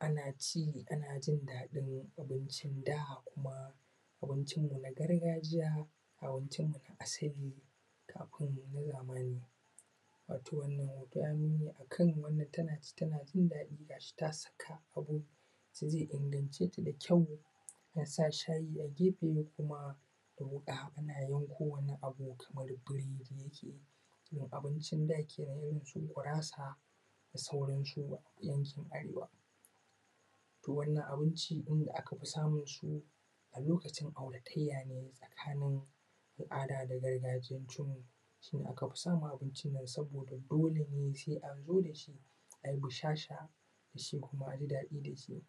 Ana ci ana jin daɗin abincin da kuma abincin mu na gargajiya abincin mu na asali kafin na zamani wato wannan hoto yayi nuni akan wannan tana ci tana jin daɗi ga shi ta saka abu da zai inganci da kyau ta sa shayi a gefe kuma da wuƙa ana yanko wani abu kamar biredi yake um abincin da kenan irin su gurasa da sauransu na yankin arewa to wannan abinci da aka fi samun su a lokacin auratayya ne tsakanin al`ada da gargajiyancin mu shi ne aka fi samun abincin nan saboda dole ne sai an zo da shi ayi bushasha da shi kuma aji dadi da su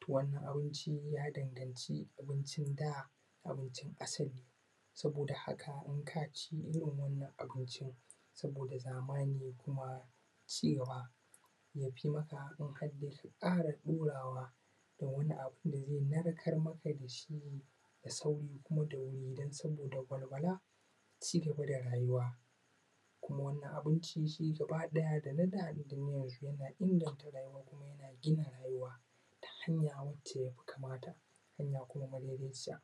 to wannan abinci ya danganci abincin da abincin asali saboda haka in ka ci irin wannan abincin saboda zamani kuma cigaba yafi maka in har da su ƙara ɗurawa da wani abu da zai narkar maka da shi da sauri kuma da wuri dan saboda walwala cigaba da rayuwa kuma wannan abinci shi gaba ɗaya da na da ne da na yanzu yana inganta rayuwar kuma yana gina rayuwa ta hanya wacce ya fi kamata a bi hanya kuma madaidaiciya,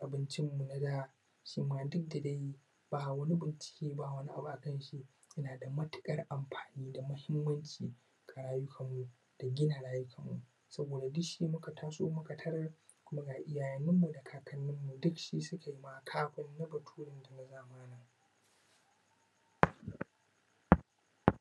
abincin mu na da shi ma duk da dai ba wani bincike ba ba wani abu a kan shi yana da matuƙar amfani da mahimmanci a rayuwan mu da gina rayukan mu saboda duk shi muka taso muka tarar kuma ga iyayen mu da kakannin mu duk shi suka ma kafin na baturen da na zamani.